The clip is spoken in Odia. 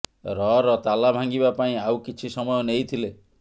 ରର ତାଲା ଭାଙ୍ଗିବା ପାଇଁ ଆଉ କିଛି ସମୟ ନେଇଥିଲେ